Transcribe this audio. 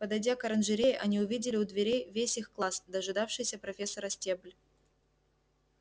подойдя к оранжерее они увидели у дверей весь их класс дожидавшийся профессора стебль